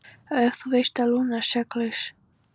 En þú veist að Lúna er saklaus.